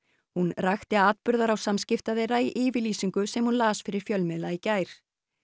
hún rakti atburðarás samskipta þeirra í yfirlýsingu sem hún las fyrir fjölmiðla í gær